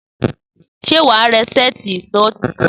Sé wàá ra sètí ìsó titun?